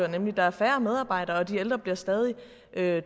nemlig at der er færre medarbejdere og at de ældre bliver stadig